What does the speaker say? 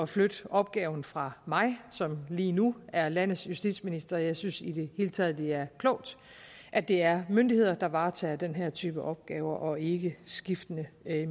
flytte opgaven fra mig som lige nu er landets justitsminister og jeg synes i det hele taget det er klogt at det er myndigheder der varetager den her type opgaver og ikke skiftende